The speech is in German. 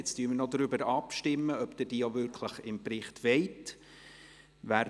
Jetzt stimmen wir noch darüber ab, ob Sie diese auch wirklich im Bericht enthalten haben wollen.